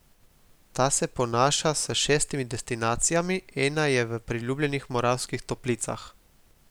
Ta se ponaša s šestimi destinacijami, ena je v priljubljenih Moravskih Toplicah.